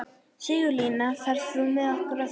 Sigurlína, ferð þú með okkur á þriðjudaginn?